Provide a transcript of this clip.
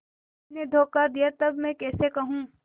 उसी ने धोखा दिया तब मैं कैसे कहूँ